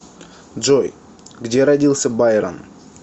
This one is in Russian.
джой где родился байрон